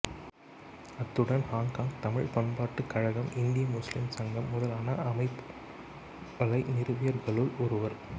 அத்துடன் ஹொங்கொங் தமிழ் பண்பாட்டுக் கழகம் இந்திய முஸ்லீம் சங்கம் முதலான அமைப்புளை நிறுவியவர்களுள் ஒருவர்